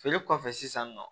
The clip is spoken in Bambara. Feere kɔfɛ sisan nɔ